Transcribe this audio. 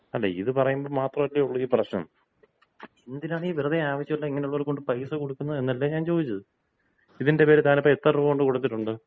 അല്ല ഇത് പറയുമ്പോ മാത്രമല്ലേ ഒള്ളൂ ഈ പ്രശ്നം. എന്തിനാണ് ഈ വെറുതെ ആവശ്യമില്ലാതെ ഇങ്ങനെ ഉള്ളവർക്ക് കൊണ്ട് പൈസ കൊടുക്കുന്നതെന്നല്ലേ ഞാൻ ചോദിച്ചത്? ഇതിന്‍റെ പേരിൽ താനിപ്പോ എത്ര രൂപ കൊണ്ട്കൊടുത്തിട്ടുണ്ട്?